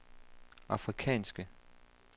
afrikanske